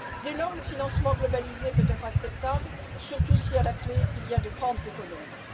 Dès lors, le financement globalisé peut être acceptable, surtout si à la clé, il y a de grandes économies.